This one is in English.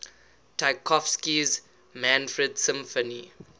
tchaikovsky's manfred symphony